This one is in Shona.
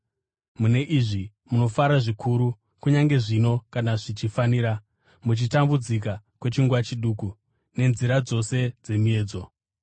Mune izvi munofara zvikuru kunyange zvino, kana zvichifanira, muchitambudzika kwechinguva chiduku nenzira dzose dzemiedzo.